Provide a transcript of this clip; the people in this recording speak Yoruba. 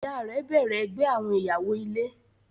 Ìyá rẹ̀ bẹ̀rẹ ẹgbẹ́ àwọn ìyàwó-ilé.